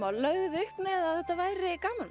lögðuð þið upp með að þetta væri gamanmynd